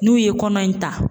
N'u ye kɔnɔ in ta